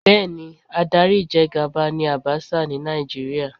Bẹ́ẹ̀ni, adarí ìjẹgàba ni Àbaṣà ni Nàìjíríà